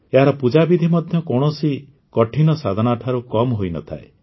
ଏହାର ପୂଜାବିଧି ମଧ୍ୟ କୌଣସି କଠିନ ସାଧନାଠାରୁ କମ୍ ହୋଇ ନ ଥାଏ